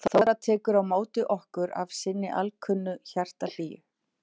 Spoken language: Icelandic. Þóra tekur á móti okkur af sinni alkunnu hjartahlýju.